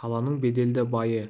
қаланың беделді байы